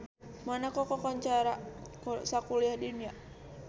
Monaco kakoncara sakuliah dunya